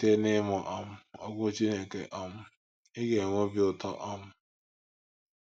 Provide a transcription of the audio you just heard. Site n’ịmụ um Okwu Chineke, um ị ga - enwe obi ụtọ um.